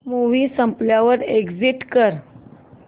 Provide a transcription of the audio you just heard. movie संपल्यावर exit कर